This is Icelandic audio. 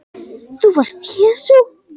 ÞÚ VARST JESÚ